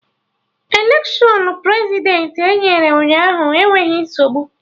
Electiọnụ Prezidentị emere Ụnyaahụ enweghị nsogbu